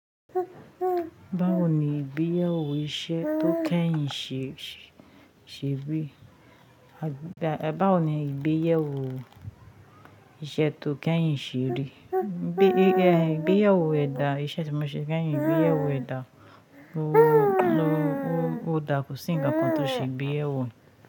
Báwo ni ìgbéyàwó iṣẹ́ tó kẹ́yìn ṣe rí? Báwo ni ìgbéyàwó iṣẹ́ tó kẹ́yìn ṣe rí? Ìgbéyàwó ẹ̀dà, iṣẹ́ tí mo ṣe kẹ́yìn, ìgbéyàwó ẹ̀dà. Ó dà ko sí nkán kan tó ṣe ìgbéyàwó.